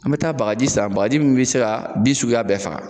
An be taa bagaji san, bagaji mun be se ka bin suguya bɛɛ faga.